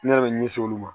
Ne yɛrɛ bɛ ɲɛsin olu ma